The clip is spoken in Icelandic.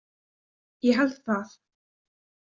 Ég held það.